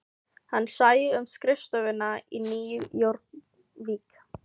Hann sæi um skrifstofuna í Nýju Jórvík